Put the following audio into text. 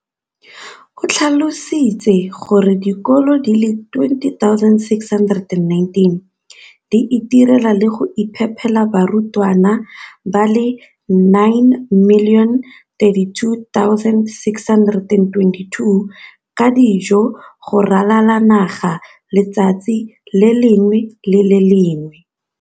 o tlhalositse gore dikolo di le 20 619 di itirela le go iphepela barutwana ba le 9 032 622 ka dijo go ralala naga letsatsi le lengwe le le lengwe.